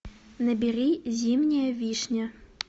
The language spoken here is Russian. набери зимняя вишня